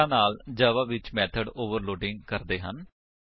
ਇਸ ਤਰਾਂ ਨਾਲ ਜਾਵਾ ਵਿੱਚ ਮੇਥਡ ਓਵਰਲੋਡਿੰਗ ਕਰਦੇ ਹਨ